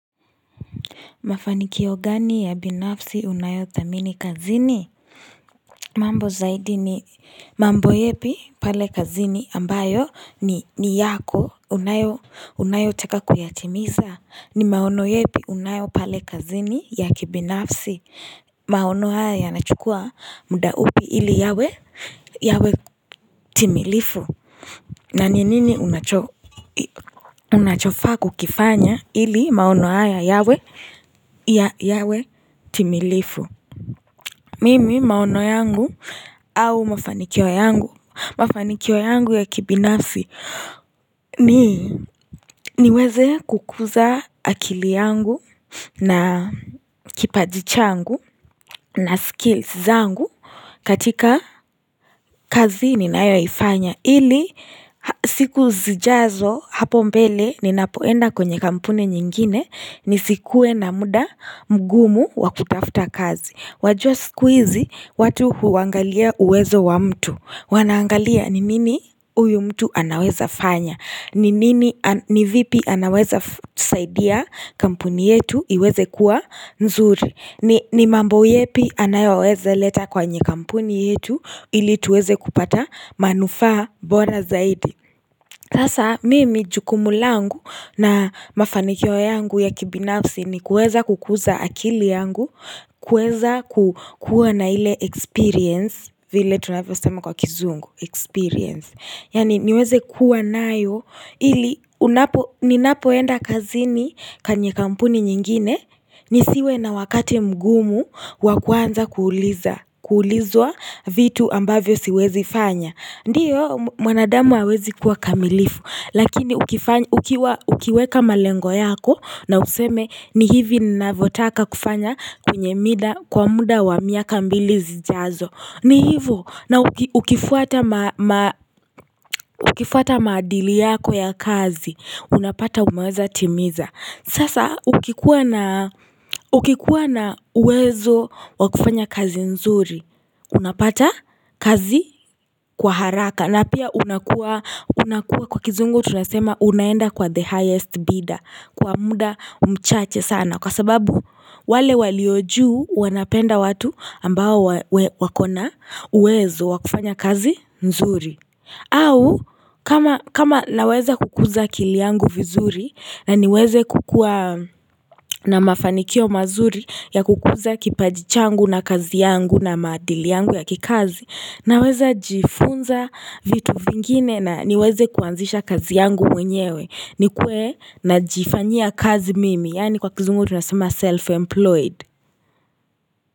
Mafanikio gani ya binafsi unayo thamini kazini mambo zaidi ni mambo yepi pale kazini ambayo ni ni yako unayo unayo taka kuyatimiza ni maono yepi unayo pale kazini ya kibinafsi maono haya ya nachukua muda upi ili yawe yawe timilifu na ni nini unacho unachofaa kukifanya ili maono haya yawe ya yawe timilifu Mimi maono yangu au mafanikio yangu Mafanikio yangu ya kibinafi niweze kukuza akili yangu na kipaji changu na skills zangu katika kazi ninayo ifanya ili siku zijazo hapo mbele ninapoenda kwenye kampuni nyingine ni sikuwe na muda mgumu wa kutafuta kazi wajua siku hizi watu huangalia uwezo wa mtu Wanaangalia ni nini huyu mtu anaweza fanya ni nini ni vipi anaweza saidia kampuni yetu iweze kuwa nzuri ni mambo yepi anayoweze leta kwa nye kampuni yetu ili tuweze kupata manufaa bora zaidi sasa mimi jukumu langu na mafaniko yangu ya kibinafsi ni kuweza kukuza akili yangu kuweza kukuwa na ile experience vile tunavyo sema kwa kizungu experience yaani niweze kuwa nayo ili unapo ninapoenda kazini kenye kampuni nyingine nisiwe na wakati mgumu wa kuanza kuuliza kuulizwa vitu ambavyo siwezi fanya ndiyo mwanadamu hawezi kuwa kamilifu lakini ukiweka malengo yako na useme ni hivi Ninavyotaka kufanya kwenye mida kwa muda wa miaka mbili zijazo ni hivo na ukifuata ukifuata maadili yako ya kazi Unapata umeweza timiza Sasa ukikuwa na uwezo wa kufanya kazi nzuri Unapata kazi kwa haraka na pia unakua kwa kizungu tunasema unaenda kwa the highest bidder Kwa muda mchache sana Kwa sababu wale walio juu wanapenda watu ambao wako na uwezo wa kufanya kazi nzuri au kama naweza kukuza akili yangu vizuri na niweze kukua na mafanikio mazuri ya kukuza kipaji changu na kazi yangu na maadili yangu ya kikazi Naweza jifunza vitu vingine na niweze kuanzisha kazi yangu mwenyewe nikuwe na jifanya kazi mimi yaani kwa kizungu tunasema self-employed.